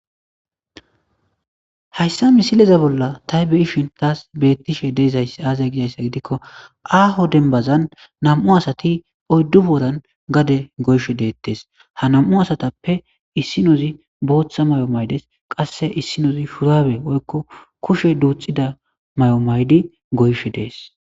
Haysa misikeza bollab ta beyishin tas betishe dizays aze gidisa gidiko aho denbazan nam'u asati uydu boran gade goyishe detes ha nam'u asatape issinozi botha mayo mayides qase issinozi shurabe woyko kushe du,ida mayo mayidi goyishe des